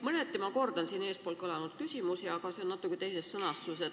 Mõneti ma kordan eespool kõlanud küsimusi, aga esitan enda oma natuke teises sõnastuses.